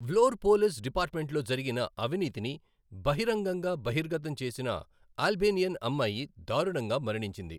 వ్లోర్ police డిపార్ట్మెంట్లో జరిగిన అవినీతిని బహిరంగంగా బహిర్గతం చేసిన అల్బేనియన్ అమ్మాయి దారుణంగా మరణించింది.